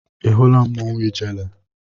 Ị hụla mmanwụ ijele?